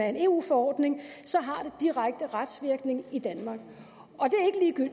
af en eu forordning så har det direkte retsvirkning i danmark